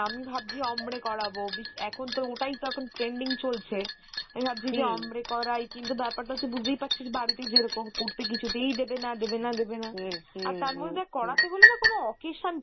আমি ভাবছি ombre করাবো এখন তো ওটাই তো এখন trending চলছে আমি ভাবছি যে ombre করাই কিন্তু ব্যাপার টা হচ্ছে বুঝতেই পারছিস বাড়িতে যেরকম করতে কিছুতেই দেবে না দেবে না দেবে না আর তারপরে দেখ করাতে হলে না কোনো occasion